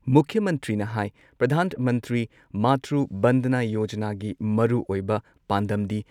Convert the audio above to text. ꯃꯨꯈ꯭ꯌ ꯃꯟꯇ꯭ꯔꯤꯅ ꯍꯥꯏ ꯄ꯭ꯔꯙꯥꯟ ꯃꯟꯇ꯭ꯔꯤ ꯃꯥꯇ꯭ꯔꯨ ꯕꯟꯗꯅꯥ ꯌꯣꯖꯅꯥꯒꯤ ꯃꯔꯨꯑꯣꯏꯕ ꯄꯥꯟꯗꯝꯗꯤ,